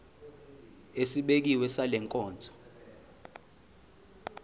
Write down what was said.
esibekiwe sale nkonzo